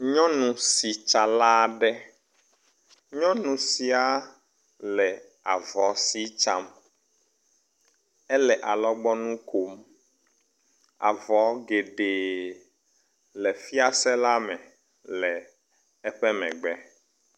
Nyɔnu sitsala aɖe. nyɔnu sia le avɔ si tsam. Ele alɔgbɔnu kom. Avɔ geɖe le fiase la me le eƒe megbe.